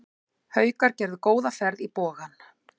Haukar gerðu góða ferð í Bogann